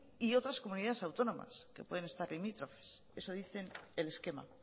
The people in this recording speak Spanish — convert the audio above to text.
y otras comunidades autónomas que pueden estar limítrofes eso dicen el esquema